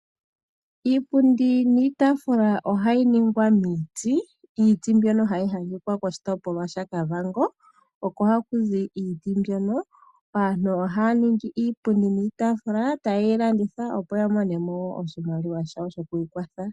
Iipundi niitaafula ohayi ningwa miiti. Iiti mbyono hayi adhika koshitopolwa shaKavango oko haku zi iiti mbyono. Aantu ohaa ningi iipundi niitaafula taye yi landitha opo ya mone mo oshimaliwa shawo sho ku ikwatha.